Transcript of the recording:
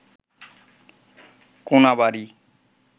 Konabari